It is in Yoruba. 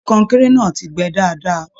Ṣe kọnkéré náà tí gbẹ́ dáadáa?